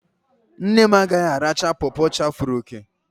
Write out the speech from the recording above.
Nne m agaghị aracha pọpọ chafere òkè